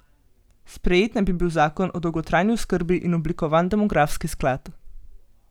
Sprejet naj bi bil zakon o dolgotrajni oskrbi in oblikovan demografski sklad.